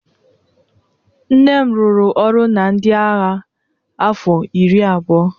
nne m rụrụ ọrụ na ndị agha afọ iri abụọ